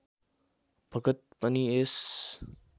भगत पनि यस